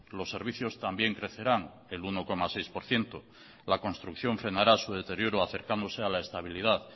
los servicios también crecerán el uno coma seis por ciento la construcción frenará su deterioro acercándose a la estabilidad